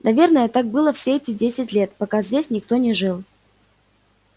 наверное так было все эти десять лет пока здесь никто не жил